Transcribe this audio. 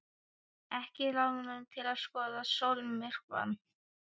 Ekki ráðrúm til að skoða sólmyrkvann.